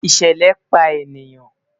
ìṣẹlẹ pa eniyan